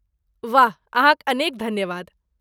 वाह! अहाँक अनेक धन्यवाद।